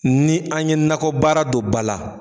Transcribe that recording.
Ni an ye nakɔbaara dɔ ba la